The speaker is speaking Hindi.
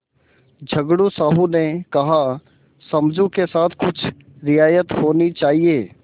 झगड़ू साहु ने कहासमझू के साथ कुछ रियायत होनी चाहिए